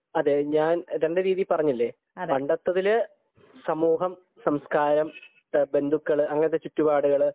അതെ ഞാനിപ്പോൾ രണ്ടു രീതിയിൽ പറഞ്ഞില്ലേ പണ്ടെത്തെതിൽ സമൂഹം സംസ്കാരം, ബന്ധുക്കൾ, അങ്ങനെയൊക്കെയുള്ള ചുറ്റുപാടുകൾ